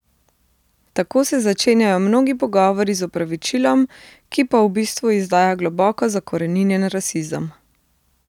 Tako se začenjajo mnogi pogovori z opravičilom, ki pa v bistvu izdaja globoko zakoreninjen rasizem.